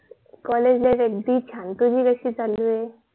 college life आगदी छांन तुझी कशी काय चालु आहे